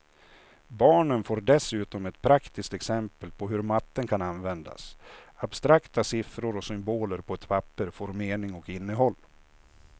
Barnen får dessutom ett praktiskt exempel på hur matten kan användas, abstrakta siffror och symboler på ett papper får mening och innehåll.